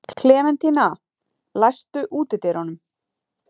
Klementína, læstu útidyrunum.